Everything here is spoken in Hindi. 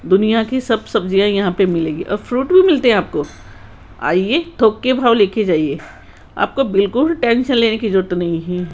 दुनिया की सब सब्जियां यहां पे मिलेगी और फ्रूट भी मिलते हैं आपको आइए थोक के भाव लेके जाइए आपको बिल्कुल भी टेंशन लेने की जरूरत नहीं है।